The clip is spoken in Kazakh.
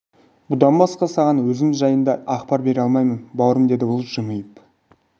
бұдан басқа саған өзім жайында ақпар бере алмаймын бауырым деді ол жымиып